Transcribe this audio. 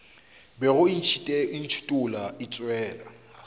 bego e ntšhithola e tšwela